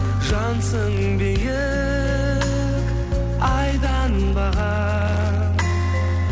жансың биік айданбаған